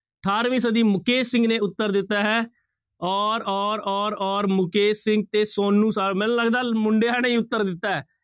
ਅਠਾਰਵੀਂ ਸਦੀ ਮੁਕੇਸ਼ ਸਿੰਘ ਨੇ ਉੱਤਰ ਦਿੱਤਾ ਹੈ ਔਰ ਔਰ ਔਰ ਔਰ ਮੁਕੇਸ਼ ਸਿੰਘ ਤੇ ਸੋਨੂੰ ਸ ਮੈਨੂੰ ਲੱਗਦਾ ਮੁੰਡਿਆਂ ਨੇ ਹੀ ਉੱਤਰ ਦਿੱਤਾ ਹੈ।